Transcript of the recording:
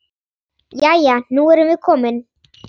Jæja, nú erum við komin.